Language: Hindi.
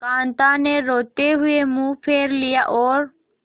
कांता ने रोते हुए मुंह फेर लिया और